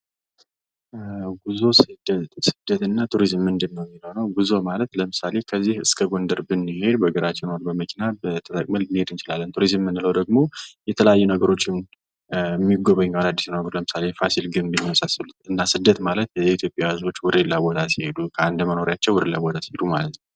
ጉዞ ስደት , ስደት እና ቱሪዝም ምንድን ነው ሚለው ነው ። ጉዞ ማለት ለምሳሌ ከዚህ እስከ ጎንደር ብንሄድ በእግራችን ኦር በመኪና ተጠቅመን ልንሄድ እንችላለን ። ቱሪዝም ምንለው ደግሞ የተለያዩ ነገሮችን ሚጎበኙ አዳዲስ ነገሮች ለምሳሌ የፋሲል ግንብ እና የመሳሰሉት እና ስደት ማለት የኢትዮጵያ ህዝቦች ወደ ሌላ ቦታ ሲሄዱ ከአንዱ መኖሪያቸው ወደ ሌላ ቦታ ሲሄዱ ማለት ነው ።